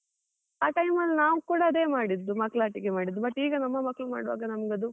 ಆ time ಅಲ್ಲಿ ನಾವ್ ಕೂಡ ಅದೇ ಮಾಡಿದ್ದೂ, ಮಕ್ಕಳಾಟಿಕೆ ಮಾಡಿದ್ದು but ಈಗ ನಮ್ಮ ಮಕ್ಕಳು ಮಾಡುವಾಗ ನಮಗದು.